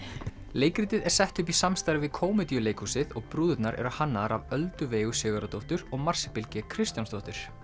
leikritið er sett upp í samstarfi við og brúðurnar eru hannaðar af Öldu Veigu Sigurðardóttur og Marsibil g Kristjánsdóttur